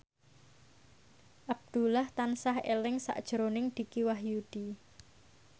Abdullah tansah eling sakjroning Dicky Wahyudi